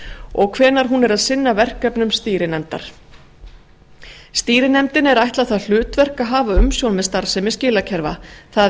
og hvenær hún er að sinna verkefnum stýrinefndar stýrinefndinni er ætlað það hlutverk að hafa umsjón með starfsemi skilakerfa það